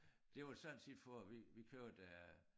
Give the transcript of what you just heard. Det var sådan set for at vi vi købte øh